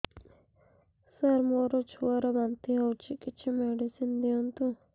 ସାର ମୋର ଛୁଆ ର ବାନ୍ତି ହଉଚି କିଛି ମେଡିସିନ ଦିଅନ୍ତୁ